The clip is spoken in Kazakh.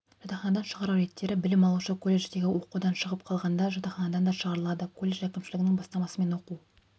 жатақханадан шығару реттері білім алушы колледждегі оқудан шығып қалғанда жатақханадан да шығарылады колледж әкімшілігінің бастамасымен оқу